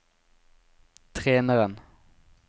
treneren